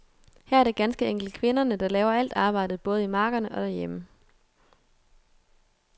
Her er det ganske enkelt kvinderne, der laver alt arbejdet både i markerne og derhjemme.